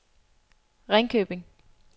Ringkøbing